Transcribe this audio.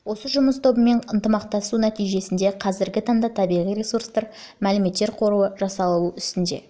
осы жұмыс тобымен ынтымақтасудың нәтижесінде қазіргі таңда табиғи ресурстар мәліметтер қоры жасалу үстінде